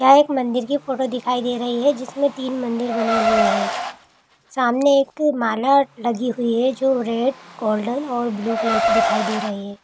यहाँ एक मंदिर की फोटो दिखाई दे रही है जिसमें तीन मंदिर बने हुए हैं। सामने एक माला लगी हुई है जो रेड गोल्डन और ब्लू कलर की दिखाई दे रही है।